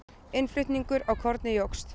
innflutningur á korni jókst